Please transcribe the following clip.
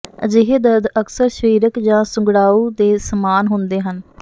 ਅਜਿਹੇ ਦਰਦ ਅਕਸਰ ਸਰੀਰਕ ਜਾਂ ਸੁੰਗੜਾਉਂ ਦੇ ਸਮਾਨ ਹੁੰਦੇ ਹਨ